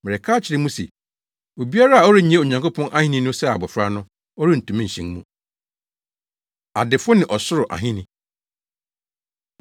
Mereka akyerɛ mo se obiara a ɔrennye Onyankopɔn Ahenni no sɛ abofra no, ɔrentumi nhyɛn mu.” Adefo Ne Ɔsoro Ahenni